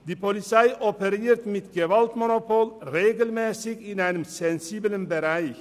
Die Polizei operiert mit dem Gewaltmonopol regelmässig in einem sensiblen Bereich.